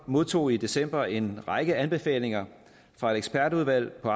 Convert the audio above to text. modtog i december en række anbefalinger fra et ekspertudvalg på